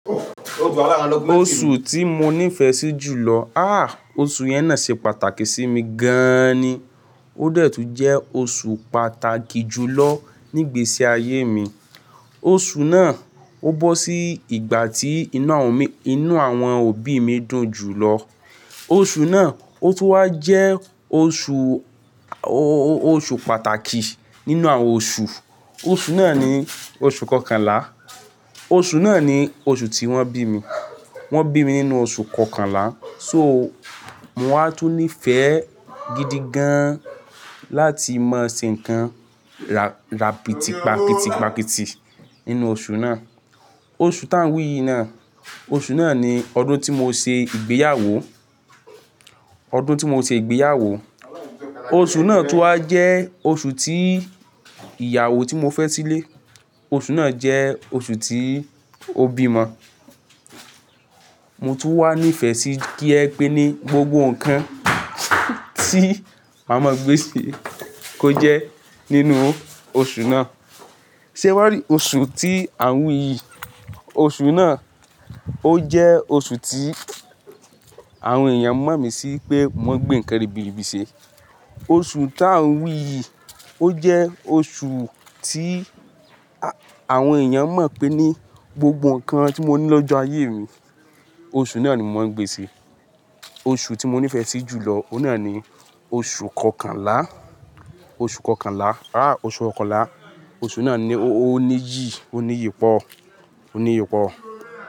Oṣù tí mo nífẹ̀ẹ́ sí jù lọ. Àh! Oṣù yẹn náà ṣe pàtàkì sí mi gan-an ni. Ó dẹ̀ tún jẹ́ oṣù pàtàkì jù lọ nígbèésí ayé mi. Oṣù náà, ó bọ́ sí ìgbà tí inú àwọn òbí mi dùn jù lọ. Oṣù náà, ó tun wá jẹ́ oṣù, o-o-oṣù pàtàkì nínú àwọn oṣù. Oṣù náà ni oṣù kọkànlá. Oṣù náà ni oṣù tí wọ́n bí mi. Wọ́n bí mi nínú oṣù kọkànlá. So, mo wá tún nífẹ̀ẹ́ gidi gan-an láti mọ ṣe ǹkan rà-ràpìtì, pàkìtì, pàkìtì nínú oṣù náà. Oṣù tá ń wí yìí ná, oṣù náà ni ọdún tí mo ṣe ìgbéyàwó. Ọdún tí mo ṣe ìgbéyàwó. Oṣù náà tún wá jẹ́ oṣù tí ìyàwó tí mo fẹ́ sílé. Oṣù náà jẹ́ oṣù tí ó bímọ. Mo tún wà nífẹ̀ẹ́ sí kí ẹ pe ní gbogbo ǹkan tí a máa gbé ṣe kó jẹ́ nínú oṣù náà. Ṣe ẹ wá rí oṣù tí à ń wí yìí, oṣù náà, ó jẹ́ oṣù tí àwọn èèyàn mọ̀ mí sí pé mo mọ n gbé ǹkan ribiribi ṣe. Oṣù tá ń wí yìí, ó jẹ́ oṣù tí àwọn èèyàn mọ̀ pé ní gbogbo ǹkan tí mo ní lọ́jọ́ ayé mi, oṣù náà ni mo mọ ń gbé ṣe. Oṣù tí mo nífẹ̀ẹ́ sí jù lọ, ó náà ni oṣù kọkànlá, oṣù kọkànlá. Àh! Oṣù kọkànlá. Oṣù náà ni ó ní iyì, ó níyi pọ, ó níyi pọ.